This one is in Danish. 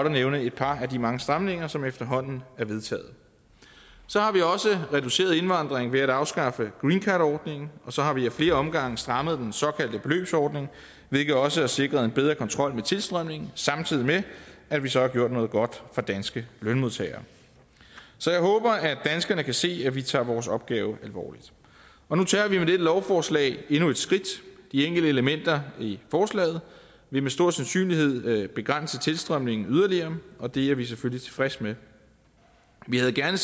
at nævne et par af de mange stramninger som efterhånden er vedtaget så har vi også reduceret indvandringen ved at afskaffe green card ordningen og så har vi af flere omgange strammet den såkaldte beløbsordning hvilket også har sikret en bedre kontrol med tilstrømningen samtidig med at vi så har gjort noget godt for danske lønmodtagere så jeg håber at danskerne kan se at vi tager vores opgave alvorligt nu tager vi dette lovforslag endnu et skridt de enkelte elementer i forslaget vil med stor sandsynlighed begrænse tilstrømningen yderligere og det er vi selvfølgelig tilfredse med vi havde gerne